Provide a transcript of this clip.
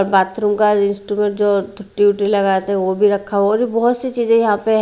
bathroom का rest में जो ड्यूटी लगाए थे वो भी रखा और बहुत सी चीजें यहां पे--